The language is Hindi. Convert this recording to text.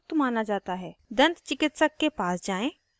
* प्रत्येक बार खाने के बाद कुल्ला करें